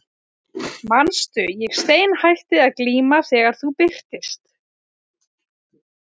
Manstu, ég steinhætti að glíma þegar þú birtist.